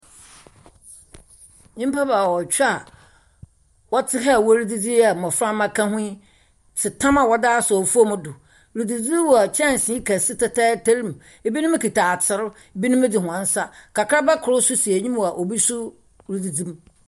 Nyimpa baawɔtwe a wɔte ha a wɔredzidzi yi a mmɔframma ka hoy i te tam a wɔdze asɛ fam do redzidzi wɔ kyɛnsee kɛse tɛtɛɛtɛr mu. Ebinom kita ater, ebinom nso dze wɔn nsa. Kakraba kor nso si enyim a obi nso redzidzi mu.